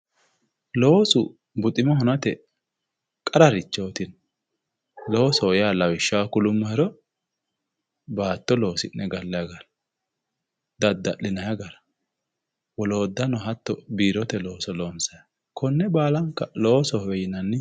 Loosu buxima hunate qararichooti, loosho yaa lawishshaho kulummohero, baatto loosi'ne gallanni gara, dadda'linanni gara woloottano hattono biirote looso loonsanni gara woloottano hatto loosohowe yinanni.